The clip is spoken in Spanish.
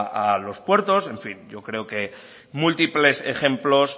a los puertos en fin yo creo que múltiples ejemplos